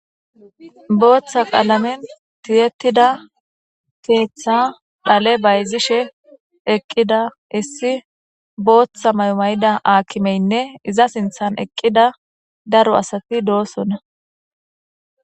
Botha qalameni tiyetida keththa dale bazishe deiza issi botha mayida akimeyinne iza sinththani eqida daro asati dosona